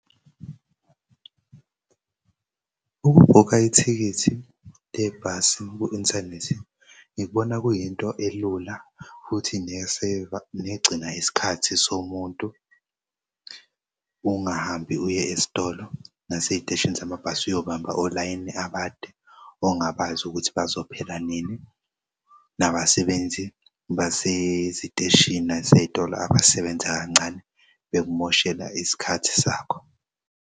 Ukubhukha ithikithi lebhasi ku-inthanethi ngikubona kuyinto elula futhi negcina isikhathi somuntu. Ungahambi uye esitolo nasey'teshini zamabhasi uyobamba olayini abade ongabazi ukuthi bazophela nini. Nabasebenzi baseziteshini nasey'tolo abasebenza kancane bekumoshela isikhathi sakho.